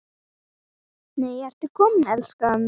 NEI, ERTU KOMIN, ELSKAN!